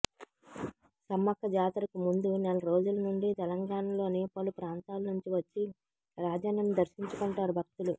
సమ్మక్క జాతరకు ముందు నెల రోజుల నుండి తెలంగాణలోని పలు ప్రాంతాల నుంచి వచ్చి రాజన్నను దర్శించుకుంటారు భక్తులు